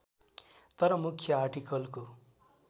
तर मुख्य आर्टिकलको